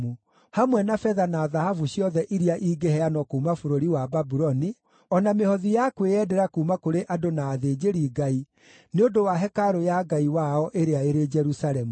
hamwe na betha na thahabu ciothe iria ingĩheanwo kuuma bũrũri wa Babuloni, o na mĩhothi ya kwĩyendera kuuma kũrĩ andũ na athĩnjĩri-Ngai, nĩ ũndũ wa hekarũ ya Ngai wao ĩrĩa ĩrĩ Jerusalemu.